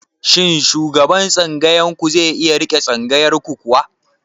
Shin shugaban tsangayar ku zai iya riƙe tsangayar ku kuwa?